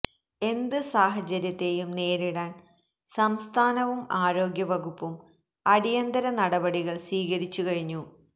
എന്ത് സാഹചര്യത്തെയും നേരിടാൻ സംസ്ഥാനവും ആരോഗ്യ വകുപ്പും അടിയന്തര നടപടികൾ സ്വീകരിച്ച് കഴിഞ്ഞു